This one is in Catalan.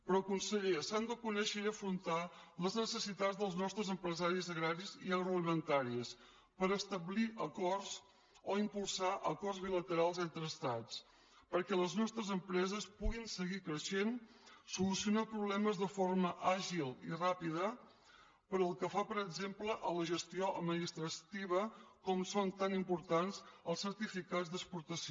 però conseller s’han de conèixer i afrontar les necessitats dels nostres empresaris agraris i agroalimentaris per establir acords o impulsar acords bilaterals entre estats perquè les nostres empreses puguin seguir creixent solucionar problemes de forma àgil i ràpida pel que fa per exemple a la gestió administrativa com són tan importants els certificats d’exportació